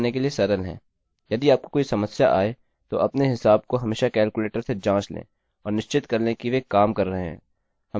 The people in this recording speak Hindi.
यदि आपको कोई समस्या आए तो अपने हिसाब को हमेशा कैलकुलेटर से जाँच लें और निश्चित कर लें कि वे काम कर रहे हैं